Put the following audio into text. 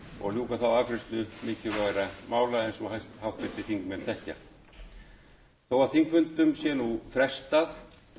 og ljúka þá afgreiðslu mikilvægra mála eins og háttvirtir þingmenn þekkja þó að þingfundum sé nú frestað